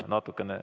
Jaa, natukene.